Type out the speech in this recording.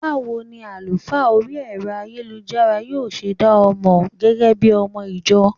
Báwo ni àlùfáà orí Ẹ̀rọ ayélujára yóò ṣe dá ọ mọ gẹ́gẹ́bí ọmọ - ìjọ?